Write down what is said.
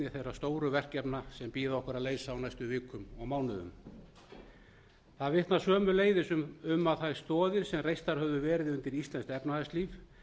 þeirra stóru verkefna sem bíða okkar að leysa á næstu vikum og mánuðum það vitnar sömuleiðis um að þær stoðir sem reistar höfðu verið undir íslenskt efnahagslíf